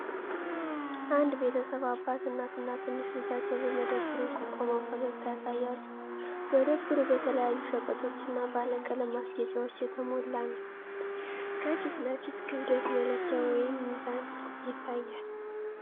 አንድ ቤተሰብ፣ አባት፣ እናትና ትንሽ ልጃቸው በመደብር ውስጥ ቆመው ፈገግታ ያሳያሉ። መደብሩ በተለያዩ ሸቀጦች እና ባለቀለም ማስጌጫዎች የተሞላ ነው። ከፊት ለፊት ክብደት መለኪያ (ሚዛን) ይታያል።